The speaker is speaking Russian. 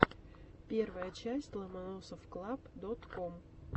первая часть ломоносовклаб дот ком